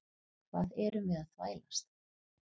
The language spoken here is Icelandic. Hvað erum við að þvælast?